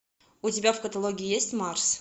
у тебя в каталоге есть марс